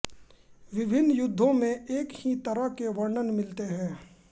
विभिन्न युद्धों में एक ही तरह के वर्णन मिलते हैं